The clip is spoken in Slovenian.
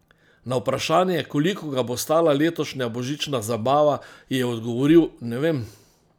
Na vprašanje, koliko ga bo stala letošnja božična zabava, je odgovoril: "Ne vem.